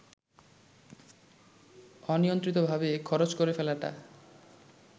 অনিয়ন্ত্রিতভাবে খরচ করে ফেলাটা